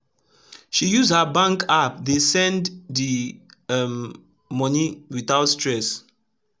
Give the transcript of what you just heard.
she use her bank app dey send d um moni wit out stress